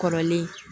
Kɔrɔlen